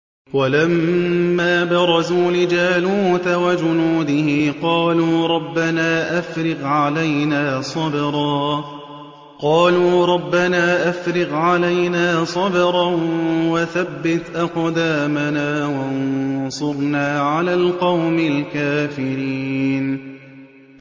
وَلَمَّا بَرَزُوا لِجَالُوتَ وَجُنُودِهِ قَالُوا رَبَّنَا أَفْرِغْ عَلَيْنَا صَبْرًا وَثَبِّتْ أَقْدَامَنَا وَانصُرْنَا عَلَى الْقَوْمِ الْكَافِرِينَ